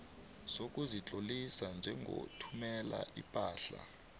sokuzitlolisa njengothumela ipahla